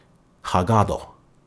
Hagado.